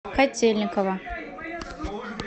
котельниково